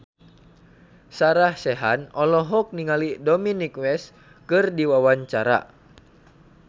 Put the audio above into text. Sarah Sechan olohok ningali Dominic West keur diwawancara